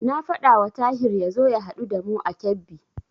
Na faɗawa Tahir ya zo ya haɗu da mu a Kebbi.